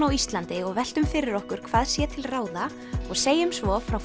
á Íslandi og veltum fyrir okkur hvað sé til ráða og segjum svo frá